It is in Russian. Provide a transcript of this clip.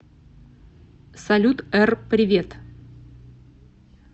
салют р привет